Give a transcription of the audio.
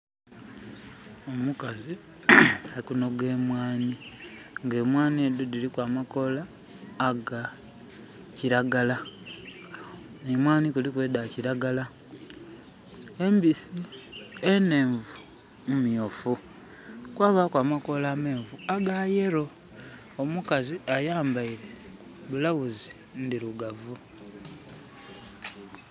Omukazi alikunoga emwaani nga emwaani edo diriku amakoola aga kiragala. Emwaani kuliku edakiragala embisi. Enenvu mmyuufu. Kwababaku amakoola amenvu aga yelllow. Omukazi ayambaire blouse ndirugavu